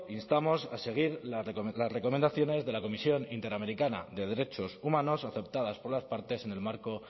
instamos a seguir las recomendaciones de la comisión interamericana de derechos humanos aceptadas por las partes en el marco